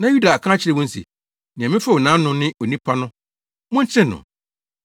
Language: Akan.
Na Yuda aka akyerɛ wɔn se, “Nea mefew nʼafono no ne onipa no; mokyere no”